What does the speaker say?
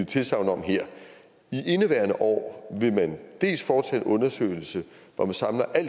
tilsagn om her i indeværende år vil man dels foretage en undersøgelse hvor man samler al